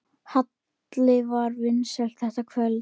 Halli var vinsæll þetta kvöld.